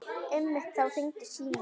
Einmitt þá hringdi síminn.